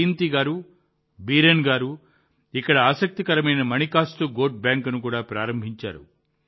జయంతి గారు బీరేన్ గారు ఇక్కడ ఆసక్తికరమైన మాణికాస్తు గోట్ బ్యాంక్ను కూడా ప్రారంభించారు